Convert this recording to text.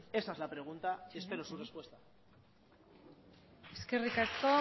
esa es la pregunta y espero su respuesta eskerrik asko